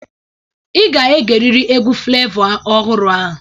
Ị ga-egeriri egwu Flevọ ọhụrụ a.